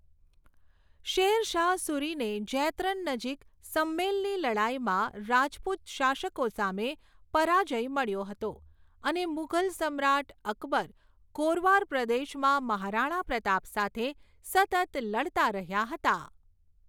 Share Shah સૂરીને જૈતરન નજીક સમ્મેલની લડાઈમાં રાજપૂત શાસકો સામે પરાજ્ય મળ્યો હતો અને મુઘલ સમ્રાટ અકબર ગોરવાર પ્રદેશમાં મહારાણા પ્રતાપ સાથે સતત લડતા રહ્યા હતા.